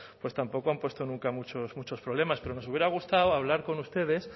pues tampoco han puesto nunca muchos problemas pero nos hubiera gustado hablar con ustedes